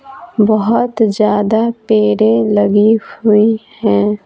बहुत ज्यादा पेरे लगी हुई हैं।